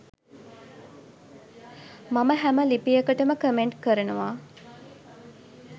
මම හැම ලිපියකටම කමෙන්ට් කරනවා.